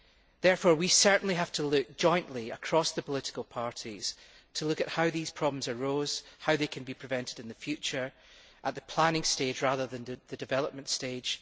Therefore, we certainly have to look jointly across the political parties to see how these problems arose, how they can be prevented in the future, at the planning stage rather than the development stage.